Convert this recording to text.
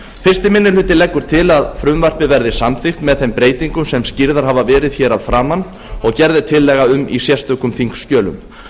fyrsti minni hluti leggur til að frumvarpið verði samþykkt með þeim breytingum sem skýrðar hafa verið hér að framan og gerð er tillaga um í sérstökum þingskjölum